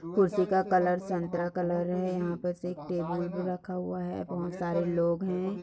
कुर्ती का कलर संतरा कलर है यहाँ पर एक टेबल भी रखा हुआ है बहुत सरे लोग है।